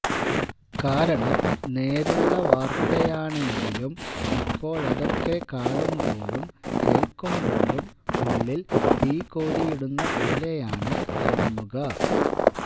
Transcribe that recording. കാരണം നേരുള്ള വാര്ത്തയാണെങ്കിലും ഇപ്പോഴതൊക്കെ കാണുമ്പോഴും കേള്ക്കുമ്പോഴും ഉള്ളില് തീ കോരിയിടുന്ന പോലെയാണ് തോന്നുക